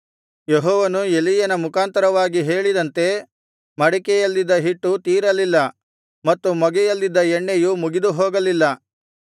ಯೆಹೋವನು ಎಲೀಯನ ಮುಖಾಂತರವಾಗಿ ಹೇಳಿದಂತೆ ಮಡಿಕೆಯಲ್ಲಿದ್ದ ಹಿಟ್ಟು ತೀರಲಿಲ್ಲ ಮತ್ತು ಮೊಗೆಯಲ್ಲಿದ್ದ ಎಣ್ಣೆಯು ಮುಗಿದುಹೋಗಲಿಲ್ಲ